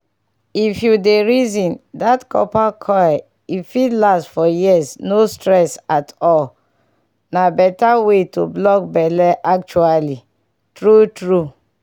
if you dey reason that copper coil e fit last for years no stress at all. na better way to block belle actually true true